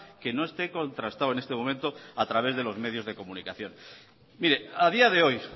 que no esté contrastado en este momento a través de los medios de comunicación mire a día de hoy